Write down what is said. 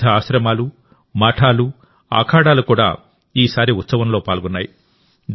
వివిధ ఆశ్రమాలు మఠాలు అఖాడాలు కూడా ఈసారి ఉత్సవంలోపాల్గొన్నాయి